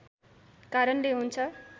कारणले हुन्छ